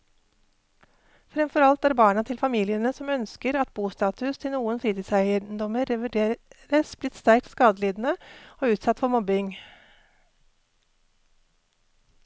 Fremfor alt er barna til familiene som ønsker at bostatus til noen fritidseiendommer revurderes, blitt sterkt skadelidende og utsatt for mobbing.